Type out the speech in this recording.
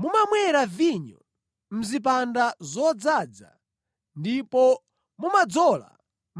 Mumamwera vinyo mʼzipanda zodzaza ndipo mumadzola